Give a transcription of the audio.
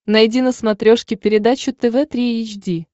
найди на смотрешке передачу тв три эйч ди